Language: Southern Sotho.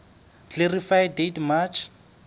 clarify date march